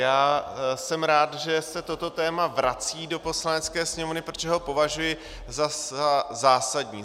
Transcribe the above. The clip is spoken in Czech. Já jsem rád, že se toto téma vrací do Poslanecké sněmovny, protože ho považuji za zásadní.